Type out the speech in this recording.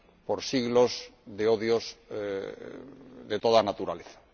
por siglos de odios de toda naturaleza.